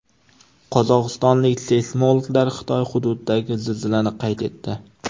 Qozog‘istonlik seysmologlar Xitoy hududidagi zilzilani qayd etdi.